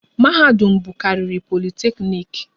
Mahadum bụkarịrị Politekniiki